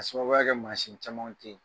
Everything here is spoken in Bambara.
k'a sababuya kɛ maasin caman teyi